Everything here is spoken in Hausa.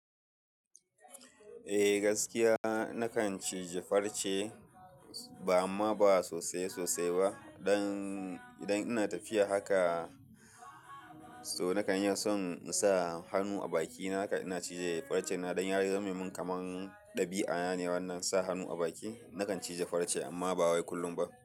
Eh gaskiya, na kan cije farce amma ba sosai sosai ba. Idan ina tafiya haka so na kan yin son in sa hannu a bakina, haka ina cije farce na don ya razumi min kaman ɗabi'a ne wannan sa hannu a baki. Na kan cije farce amma ba wai kullum ba.